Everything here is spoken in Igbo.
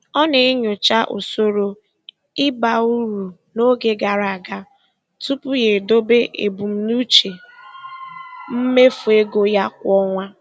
Ọ na-enyocha usoro ịba uru n'oge gara aga tupu ya edobe ebumnuche mmefu ego ya kwa ọnwa.